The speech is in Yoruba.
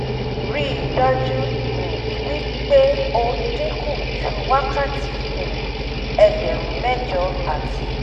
rí dájú um wí pé o dínkù ju wákàtí um ẹgbẹrun mẹjọ àti